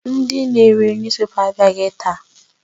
Ndị na-ere newspaper abịaghị taa.